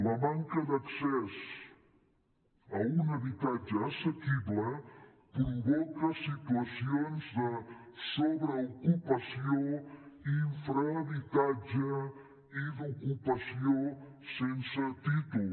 la manca d’accés a un habitatge assequible provoca situacions de sobreocupació infrahabitatge i d’ocupació sense títol